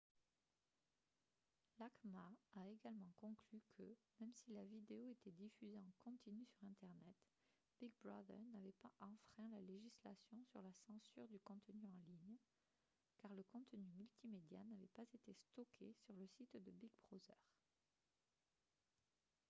l'acma a également conclu que même si la vidéo était diffusée en continu sur internet big brother n'avait pas enfreint la législation sur la censure du contenu en ligne car le contenu multimédia n'avait pas été stocké sur le site de big brother